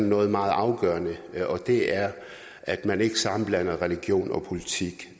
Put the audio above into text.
noget meget afgørende og det er at man ikke sammenblander religion og politik